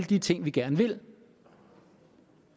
de ting vi gerne vil